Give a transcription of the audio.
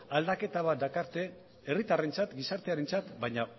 aldaketa bat dakarte herritarrentzat gizartearentzat baina